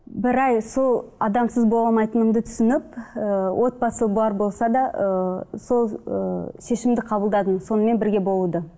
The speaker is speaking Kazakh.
бір ай сол адамсыз бола алмайтынымды түсініп ыыы отбасы бар болса да ыыы сол ыыы шешімді қабылдадым сонымен бірге болуды